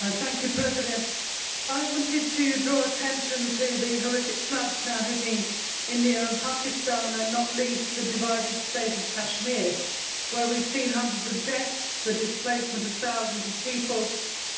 Mr President, I wanted to draw attention to the horrific floods now hitting India and Pakistan, and not least the divided state of Kashmir, where we have seen hundreds of deaths, the displacement of thousands of people,